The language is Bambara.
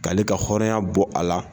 K'ale ka hɔrɔnya bɔ a la